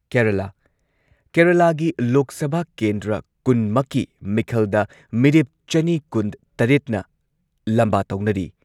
ꯀꯦꯔꯂꯥꯥ- ꯀꯦꯔꯂꯥꯒꯤ ꯂꯣꯛ ꯁꯚꯥ ꯀꯦꯟꯗ꯭ꯔ ꯀꯨꯟꯃꯛꯀꯤ ꯃꯤꯈꯜꯗ ꯃꯤꯔꯦꯞ ꯆꯅꯤ ꯀꯨꯟꯇꯔꯦꯠꯅ ꯂꯝꯕꯥ ꯇꯧꯅꯔꯤ ꯫